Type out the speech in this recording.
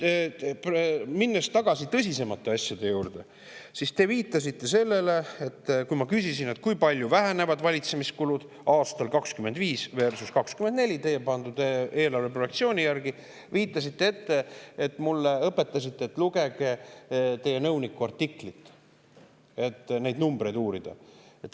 Minnes nüüd tagasi tõsisemate asjade juurde, te viitasite sellele – kui ma küsisin, kui palju vähenevad valitsemiskulud aastal 2025 versus 2024 teie pandud eelarve järgi – ja õpetasite mind, et lugegu ma teie nõuniku artiklit, et neid numbreid uurida.